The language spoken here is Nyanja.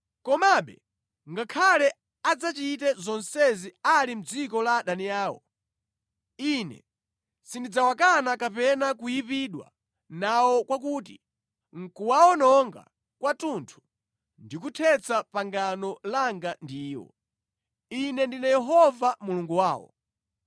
Komabe ngakhale adzachite zonsezi ali mʼdziko la adani awo, Ine sindidzawakana kapena kuyipidwa nawo kwakuti nʼkuwawononga kwathunthu ndi kuthetsa pangano langa ndi iwo. Ine ndine Yehova Mulungu wawo.